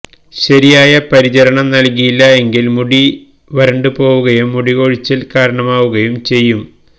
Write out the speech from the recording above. ശരിയായ പരിചരണം നല്കിയില്ല എങ്കില് മുടി വരണ്ടു പോവുകയും മുടി കൊഴിച്ചിലിന് കാരണമാവുകയും ചെയ്യും